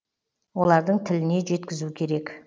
олардың тіліне жеткізу керек